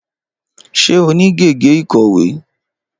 Ṣé o ní gègé ìkọ̀wé?